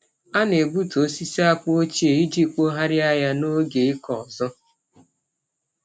A na-egbutu osisi akpụ ochie iji kpọgharịa ya n’oge ịkọ ọzọ.